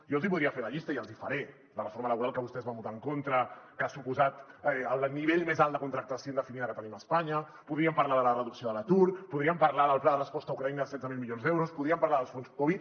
jo els voldria fer la llista i els hi faré la reforma laboral que vostès van votar en contra que ha suposat el nivell més alt de contractació indefinida que tenim a espanya podríem parlar de la reducció de l’atur podríem parlar del pla de resposta a ucraïna de setze mil milions d’euros podríem parlar dels fons covid